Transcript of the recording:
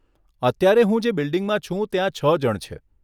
અત્યારે હું જે બિલ્ડીંગમા છું ત્યાં છ જણ છે.